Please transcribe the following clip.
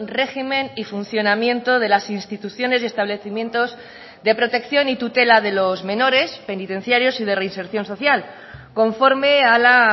régimen y funcionamiento de las instituciones y establecimientos de protección y tutela de los menores penitenciarios y de reinserción social conforme a la